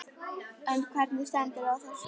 En hvernig stendur á þessu?